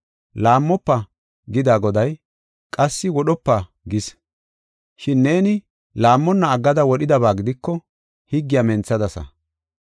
“Laammofa” gida Goday, qassi “Wodhopa” gis. Shin neeni laammonna aggada wodhidaba gidiko, higgiya menthadasa.